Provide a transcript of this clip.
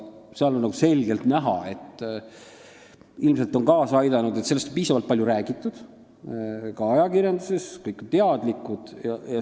Seal on selgelt näha, et ilmselt on kaasa aidanud see, et sellest on piisavalt palju räägitud ka ajakirjanduses ja kõik on teadlikud.